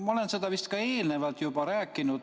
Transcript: Ma olen seda vist ka eelnevalt juba rääkinud.